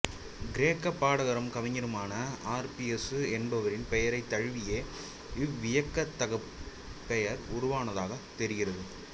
கிரேக்கக் பாடகரும் கவிஞருமான ஆர்பியசு என்பாரின் பெயரைத் தழுவியே இவ்வியக்கத்துக்குப் பெயர் உருவானதாகத் தெரிகிறது